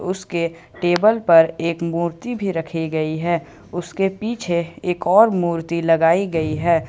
उसके टेबल पर एक मूर्ति भी रखी गई है उसके पीछे एक और मूर्ति लगाई गई है।